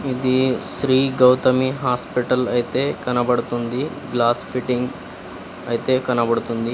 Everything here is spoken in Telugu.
ఇదీ శ్రీ గౌతమి హాస్పిటల్ అయితే కనబడుతుంది గ్లాస్ ఫిట్టింగ్ అయితే కనబడుతుంది.